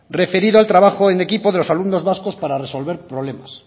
referido al trabajo en equipo de los alumnos vascos para resolver problemas